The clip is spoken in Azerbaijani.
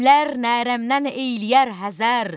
Qənimlər nərəmdən eyləyər həzər.